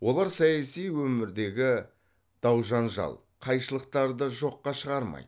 олар саяси өмірдегі дау жанжал қайшылықтарды жоққа шығармайды